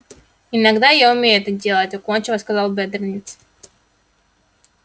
иногда я умею это делать уклончиво сказал бедренец